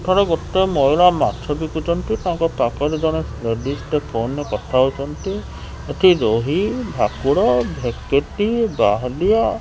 ଏଠାରେ ଗୋଟେ ମହିଳା ମାଛ ବିକୁଚନ୍ତି ତାଙ୍କ ପାଖରେ ଜଣେ ଲେଡିଜ ଟେ ଫୋନ୍ ରେ କଥା ହୋଉଚନ୍ତି ଏଠି ରୋହି ଭାକୁର ଭେକେଟି ବାହାଲିଆ --